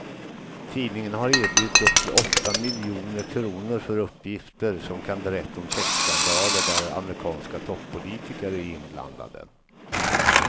Tidningen har erbjudit upp till åtta miljoner kr för uppgifter som kan berätta om sexskandaler där amerikanska toppolitiker är inblandade.